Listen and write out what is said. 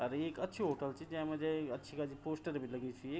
अर ये एक अच्छू होटल च जेमा जाई अच्छी-खासी पोस्टर बि लगी छी।